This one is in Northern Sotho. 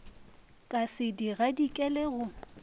ka se di gadikele go